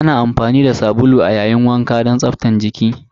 Ana amfani da sabulu a yayin wanka don tsaftace jiki.